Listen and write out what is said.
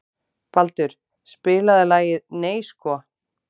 Baldur, spilaðu lagið „Nei sko“.